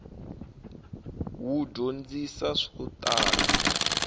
wu dyondzisa swo tala